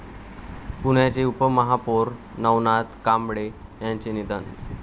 पुण्याचे उपमहापौर नवनाथ कांबळे यांचे निधन